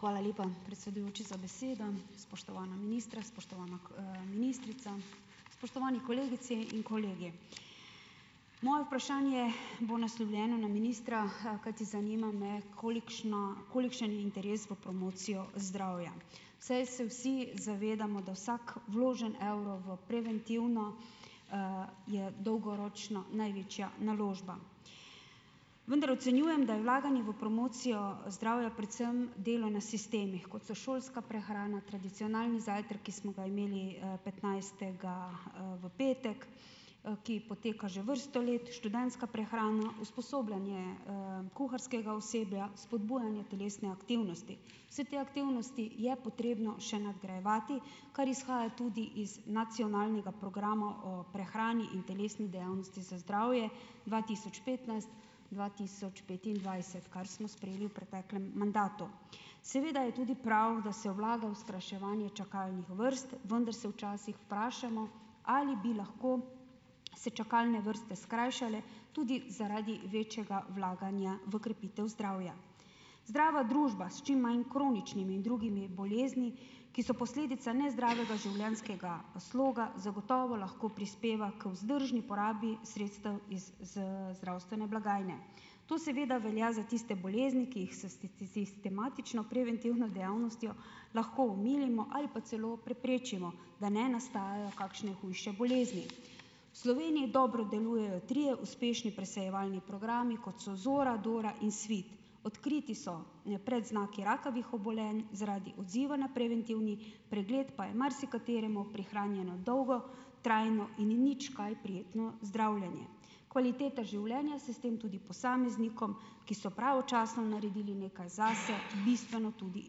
Hvala lepa, predsedujoči za besedo. Spoštovana ministra, spoštovana, ministrica, spoštovani kolegici in kolegi. Moje vprašanje bo naslovljeno na ministra, kajti zanima me, kolikšna, kolikšen interes v promocijo zdravja, saj se vsi zavedamo, da vsak vložen evro v preventivno, je dolgoročno največja naložba. Vendar ocenjujem, da je vlaganje v promocijo, zdravja predvsem delo na sistemih, kot so šolska prehrana, tradicionalni zajtrki, ki smo ga imeli, petnajstega, v petek, ki poteka že vrsto let, študentska prehrana, usposabljanje, kuharskega osebja, spodbujanje telesne aktivnosti. Vse te aktivnosti je potrebno še nadgrajevati, kar izhaja tudi iz Nacionalnega programa o prehrani in telesni dejavnosti za zdravje dva tisoč petnajst, dva tisoč petindvajset, kar smo sprejeli v preteklem mandatu. Seveda je tudi prav, da se vlaga v skrajševanje čakalnih vrst, vendar se včasih vprašamo, ali bi lahko se čakalne vrste skrajšale tudi zaradi večjega vlaganja v krepitev zdravja. Zdrava družba s čim manj kroničnimi in drugimi bolezni, ki so posledica nezdravega življenjskega sloga, zagotovo lahko prispeva k vzdržni porabi sredstev iz, zdravstvene blagajne. To seveda velja za tiste bolezni, ki jih sistematično preventivno dejavnostjo lahko omilimo ali pa celo preprečimo, da ne nastajajo kakšne hujše bolezni. V Sloveniji dobro delujejo trije uspešni presejevalni programi, kot so Zora, Dora in Svit. Odkriti so predznaki rakavih obolenj, zaradi odziva na preventivni pregled pa je marsikateremu prihranjeno dolgo trajno in nič kaj prijetno zdravljenje. Kvaliteta življenja se s tem tudi posameznikom, ki so pravočasno naredili nekaj zase, bistveno tudi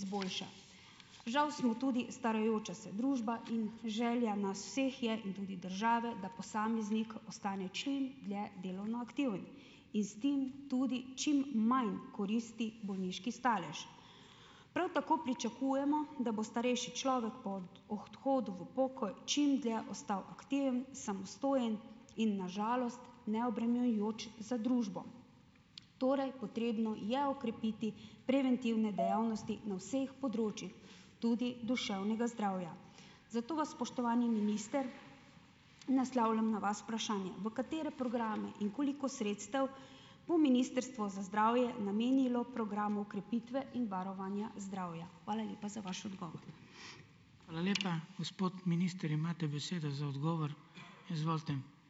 izboljša. Žal smo tudi starajoča se družba in želja nas vseh je in tudi države, da posameznik postane čim dlje delovno aktiven. In s tem tudi čim manj koristi bolniški stalež. Prav tako pričakujemo, da bo starejši človek ob odhodu v pokoj čim dlje ostal aktiven, samostojen in na žalost neobremenjujoč za družbo. Torej potrebno je okrepiti preventivne dejavnosti na vseh področjih, tudi duševnega zdravja. Zato vas, spoštovani minister, naslavljam na vas vprašanje, v katere programe in koliko sredstev bo Ministrstvo za zdravje namenilo programu krepitve in varovanja zdravja. Hvala lepa za vaš odgovor. Hvala lepa. Gospod minister, imate besedo za odgovor. Izvolite.